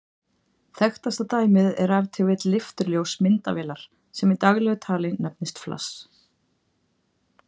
Þekktasta dæmið er ef til vill leifturljós myndavélar, sem í daglegu tali nefnist flass.